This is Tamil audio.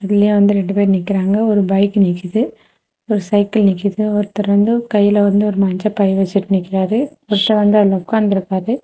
வெளிய வந்து ரெண்டு பேர் நிக்கிறாங்க ஒரு பைக்கு நிக்குது ஒரு சைக்கிள் நிக்குது ஒருத்தர் வந்து கைல வந்து ஒரு மஞ்ச பை வெச்சுட்டு நிக்கிறாரு ஒருத்தர் வந்து ள்ள உக்காந்துருக்காரு.